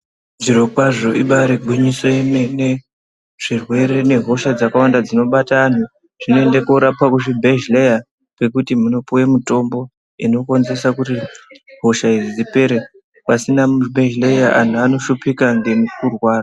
Zviro kwaazvo ibayiri gwinyiso yemene zvirwere zvakawanda nehosha dzinobata anhu zvinoende kunorapwa muzvibhedhleya kwekutu munopiwe mutombo inokonzeresa kuti hosha idzi dzipere pasina mibhedhleya andu anoshupika ngokurwara.